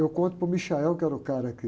Eu conto para o, que era o cara que...